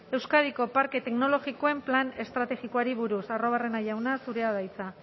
euskadiko parke teknologikoen plan estrategikoari buruz arruabarrena jauna zurea da hitza